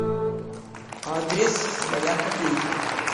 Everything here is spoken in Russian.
адрес своя копейка